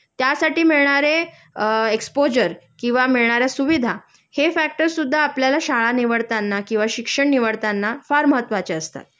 त्यासाठी मिळणारे एक्सपोजर किंवा मिळणाऱ्या सुविधा हे फॅक्टर्स सुद्धा आपल्याला शाळा निवडताना किंवा शिक्षण निवडताना फार महत्वाचे असतात